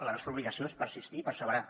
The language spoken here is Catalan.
la nostra obligació és persistir i perseverar